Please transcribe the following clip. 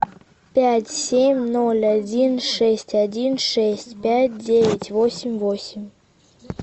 пять семь ноль один шесть один шесть пять девять восемь восемь